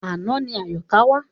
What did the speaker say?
Àná ni Àyọ̀ká wá.